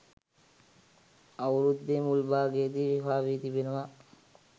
අවුරුද්දේ මුල් භාගයේදී විවාහ වී තිබෙනවා